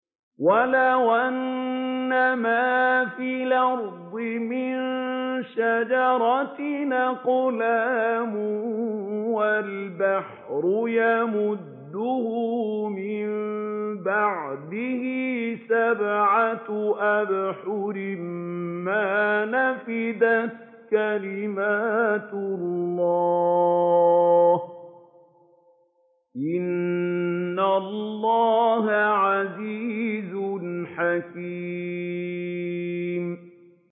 وَلَوْ أَنَّمَا فِي الْأَرْضِ مِن شَجَرَةٍ أَقْلَامٌ وَالْبَحْرُ يَمُدُّهُ مِن بَعْدِهِ سَبْعَةُ أَبْحُرٍ مَّا نَفِدَتْ كَلِمَاتُ اللَّهِ ۗ إِنَّ اللَّهَ عَزِيزٌ حَكِيمٌ